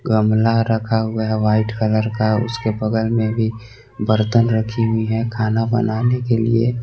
गमला रखा हुआ है व्हाईट कलर का उसके बगल मे भी बर्तन रखी हुई है खाना बनाने के लिए।